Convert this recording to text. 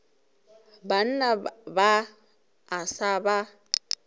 banna ba a sa ba